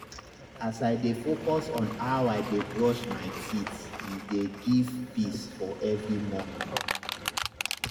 as i dey focus on how i dey brush my teethe dey give peace for every morning.